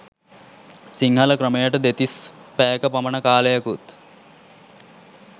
සිංහල ක්‍රමයට දෙතිස් පැයක පමණ කාලයකුත්